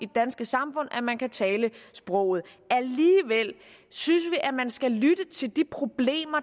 danske samfund at man kan tale sproget alligevel synes vi at man skal lytte til de problemer